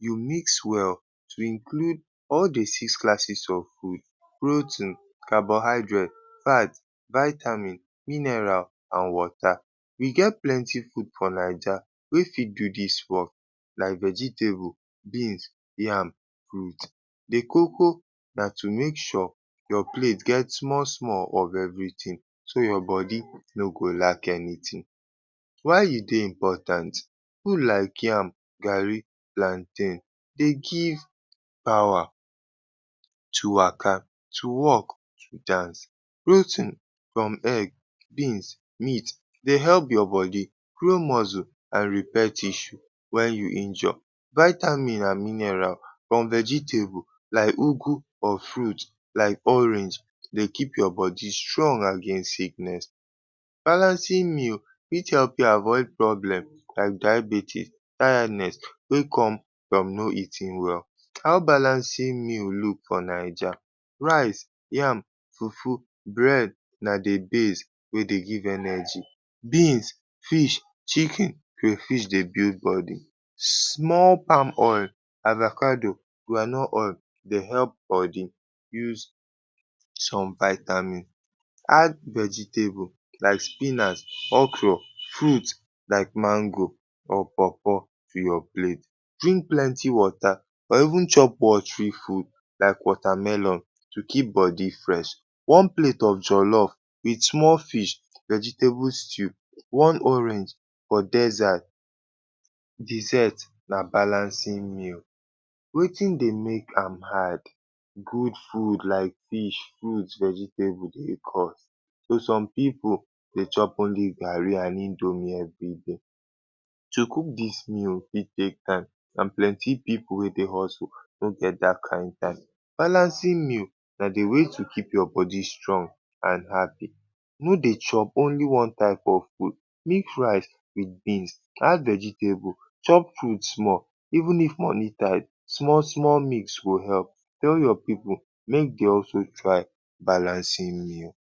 you mix well to include all de six classes of food; protein, carbohydrate, fat, vitamin, mineral and water. We get plenty food for naija wey fit do dis work like vegetable, beans, yam, fruit. De koko na to make sure your plate get small small of everything so your body no go lack anything. Why e dey important? Food like yam, garri, plantain dey give power to waka, to work, to dance. Protein from egg, beans, meat dey help your body grow muscle and repair tissue wen you injure. Vitamin and mineral from vegetable like or fruit like orange dey keep your body strong against sickness. Balancing meal fit help you avoid problem like diabetes, tiredness wey come from no eating well. How balancing meal look for naija? Rice, yam, fufu, bread na de base wey dey give energy. Beans, fish, chicken, crayfish dey build body. Small palm oil, avacado, groundnut oil dey help body. Use some vitamin, add some vegetable like spinach, okro; fruit like mango, or pawpaw to your plate. Drink plenty water or even chop watery food like watermelon to keep body fresh. One plate of jollof wit small fish, vegetable stew, one orange for desert dessert na balancing meal. Wetin dey make am hard? Good food like fish, fruit, vegetable dey cost. So some pipu dey chop only garri and indomie everyday. To cook dis meal fit take time and plenty pipu wey dey hustle no get dat kain time. Balancing meal na de way to keep your body strong and happy. No dey chop only one type of food, mix rice wit beans, add vegetable, chop fruits small even if money tight, small small mix go help. Tell your pipu make dey also try balancing meal.